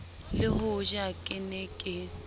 le hoja ke ne ke